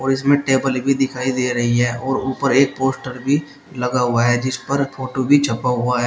और इसमें टेबल भी दिखाई दे रही है और ऊपर एक पोस्टर भी लगा हुआ है जिस पर फोटो भी छपा हुआ है।